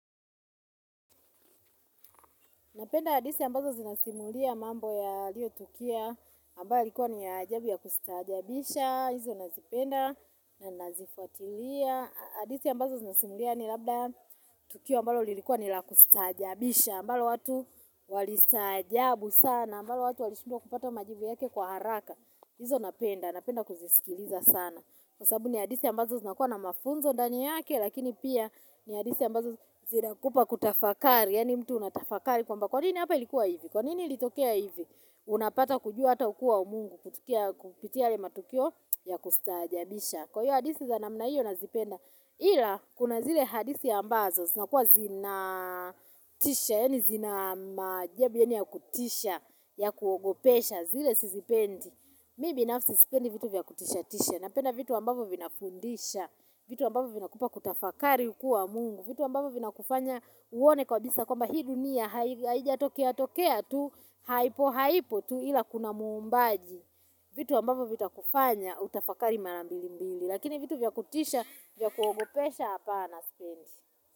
Napenda hadisi ambazo zinasimulia mambo yaliyotukia, ambayo ilikuwa ni ya ajabu ya kustaajabisha, hizo nazipenda, na nazifuatilia. Hadithi ambazo zinasimulia yaani labda tukio ambalo lilikuwa ni la kustaajabisha, ambalo watu walistaajabu sana, ambalo watu walishindwa kupata majibu yake kwa haraka. Hizo napenda, napenda kuzisikiliza sana. Kwa sababu ni hadithi ambazo zinakuwa na mafunzo ndani yake lakini pia ni hadisi ambazo zinakupa kutafakari, yaani mtu unatafakari kwamba, kwanini hapa ilikuwa hivi? Kwanini ilitokea hivi? Unapata kujua hata ukua umungu, kutukia, kupitia yale matukio ya kustaajabisha. Kwa hivyo hadisi za namna hiyo nazipenda. Ila, kuna zile hadithi ambazo zinakuwa zinatisha, yaani zina maajabu yaani ya kutisha, ya kuogopesha, zile sizipendi. Mi binafsi sipendi vitu vya kutisha tisha. Napenda vitu ambavyo vinafundisha, vitu ambavyo vinakupa kutafakari ukuwa wa mungu, vitu ambavyo vinakufanya uone kabisa kwamba hii dunia haijatokea tokea tu, haipo haipo tu ila kuna muumbaji. Vitu ambavyo vitakufanya utafakari mara mbili mbili. Lakini vitu vya kutisha, vya kuogopesha hapana, sipendi.